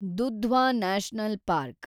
Dudhwa national park